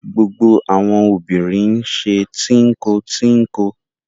Gbogbo àwọn obìnrin ṣe tínko-tínko.